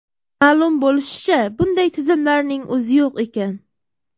Ma’lum bo‘lishicha, bunday tizimlarning o‘zi yo‘q ekan!